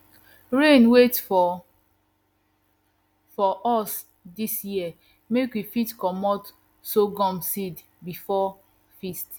rain wait for for us dis year make we fit comot sorghum seed before feast